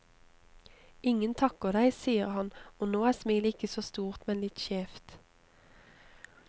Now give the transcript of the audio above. Ingen takker deg, sier han, og nå er smilet ikke så stort, men litt skjevt.